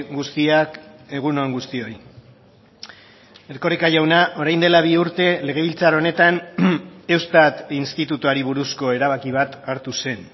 guztiak egun on guztioi erkoreka jauna orain dela bi urte legebiltzar honetan eustat institutuari buruzko erabaki bat hartu zen